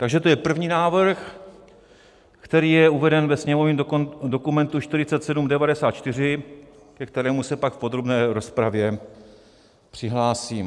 Takže to je první návrh, který je uveden ve sněmovním dokumentu 4794, ke kterému se pak v podrobné rozpravě přihlásím.